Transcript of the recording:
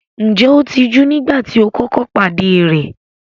Ǹjẹ́ ó tijú nígbà tí o kọ́kọ́ pàdé rẹ̀?